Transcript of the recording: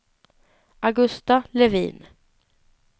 Augusta Levin